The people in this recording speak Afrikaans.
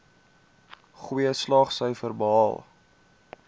goeie slaagsyfers behaal